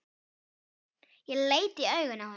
Ég leit í augu henni.